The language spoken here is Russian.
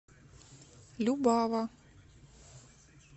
любава